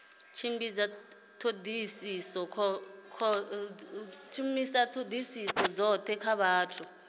tshimbidza thodisiso khothe ya vhathu